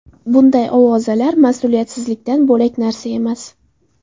Bunday ovozalar mas’uliyatsizlikdan bo‘lak narsa emas.